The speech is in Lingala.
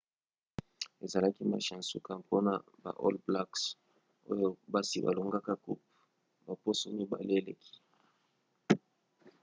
ezalaki match ya nsuka mpona baall blacks oyo basi balongaki coupe baposo mibale eleki